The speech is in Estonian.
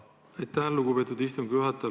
Aitäh, lugupeetud istungi juhataja!